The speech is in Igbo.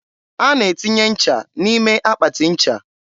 a na-etinye nche n'ime akpatị ncha.